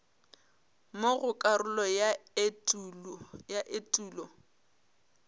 mo go karolo ya etulo